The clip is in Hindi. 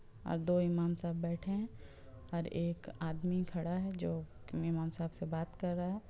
दो इमाम साहब बैठे हैं और एक आदमी खड़ा है जो इमाम साहब से बात कर रहा है।